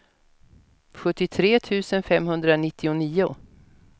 sjuttiotre tusen femhundranittionio